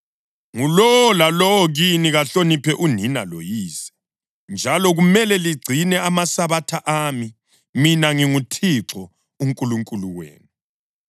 Ngulowo lalowo kini kahloniphe unina loyise, njalo kumele ligcine amaSabatha ami. Mina nginguThixo uNkulunkulu wenu.